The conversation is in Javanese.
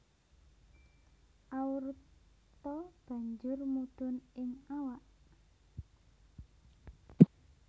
Aorta banjur mudhun ing awak